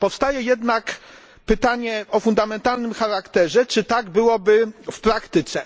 Powstaje jednak pytanie o fundamentalnym charakterze czy tak byłoby w praktyce?